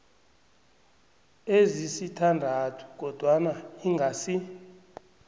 ezisithandathu kodwana ingasi